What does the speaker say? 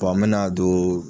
bɔn an me na don